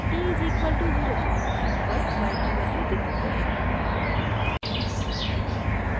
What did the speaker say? t = 05 पर y की value दिखती है